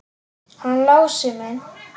Hann Lási minn!